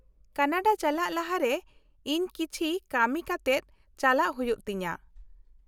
- ᱠᱟᱱᱟᱰᱟ ᱪᱟᱞᱟᱜ ᱞᱟᱦᱟᱨᱮ ᱤᱧ ᱠᱤᱪᱷᱤ ᱠᱟᱹᱢᱤ ᱠᱟᱛᱮᱜ ᱪᱟᱞᱟᱜ ᱦᱩᱭᱩᱜ ᱛᱤᱧᱟᱹ ᱾